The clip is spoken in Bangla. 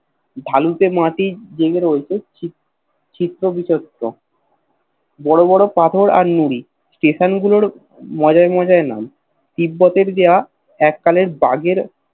ভাল তে মাটির যেগুলো রইছে চিত্ত বিচট্ট বড় বড় পাথর আর নুড় Station গুলোর মজার মজার নাম তিব্বতের দেওয়া এককালের দাগের